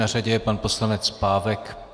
Na řadě je pan poslanec Pávek.